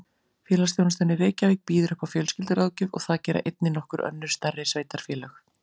Félagsþjónustan í Reykjavík býður upp á fjölskylduráðgjöf og það gera einnig nokkur önnur stærri sveitarfélög.